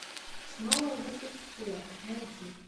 снова в ссср найди